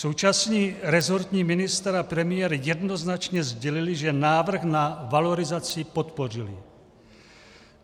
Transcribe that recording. Současný rezortní ministr a premiér jednoznačně sdělili, že návrh na valorizaci podpořili.